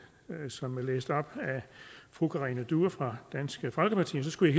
som blev læst op af fru karina due fra dansk folkeparti og så skulle